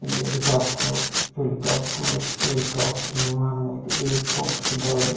ఈ హెలికాఫ్టర్వు helicopter helicopter విమానం ఇది ఈ ఎయిర్పోర్ట్ కీ దారి.